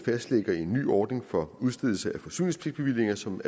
fastlægger en ny ordning for udstedelse af forsyningspligtbevillinger som